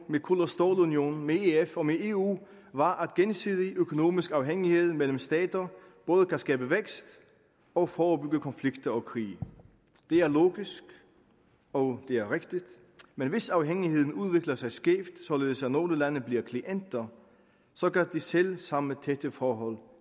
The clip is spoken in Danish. med kul og stålunionen med ef og med eu var at gensidig økonomisk afhængighed mellem stater både kan skabe vækst og forebygge konflikter og krige det er logisk og det er rigtigt men hvis afhængigheden udvikler sig skævt således at nogle lande bliver klienter så kan de selv samme tætte forhold